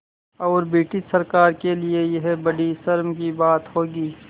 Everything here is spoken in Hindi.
और ब्रिटिश सरकार के लिये यह बड़ी शर्म की बात होगी